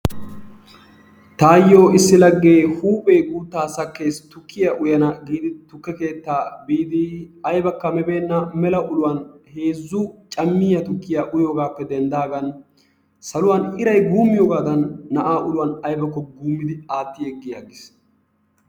Taayyoo issi laggee huphphee guuttaa sakkees tukkiyaa uyyana giidi tukke keettaa biidi aybakka mi beena mela uluwaan heezzu cammiyaa tukkiyaa uyoogappe denddidaagan saluwaan iray guummiyoogadan na'aa uluwaan aybako guummidi atti yeggi aggiis.